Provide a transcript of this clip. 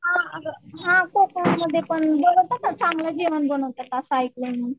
हां अगं कोंकण मध्ये पण बरेच असं चांगलं जेवण बनवतात असं ऐकलंय मी